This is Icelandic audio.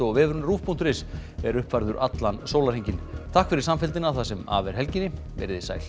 vefurinn ruv punktur is er uppfærður allan sólarhringinn takk fyrir samfylgdina það sem af er helginni verið þið sæl